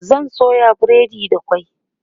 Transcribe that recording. zan soya breadi da kwai